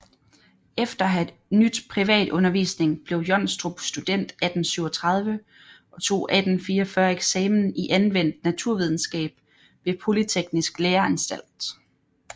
Efter at have nydt privat undervisning blev Johnstrup student 1837 og tog 1844 eksamen i anvendt naturvidenskab ved Polyteknisk Læreanstalt